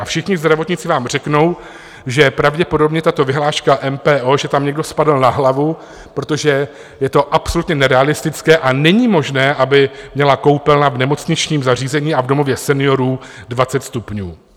A všichni zdravotníci vám řeknou, že pravděpodobně tato vyhláška MPO, že tam někdo spadl na hlavu, protože je to absolutně nerealistické a není možné, aby měla koupelna v nemocničním zařízení a v domově seniorů 20 stupňů.